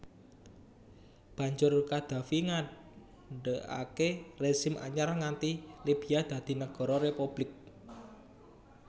Banjur Qaddafi ngadegaké rezim anyar ngganti Libya dadi Nagara Republik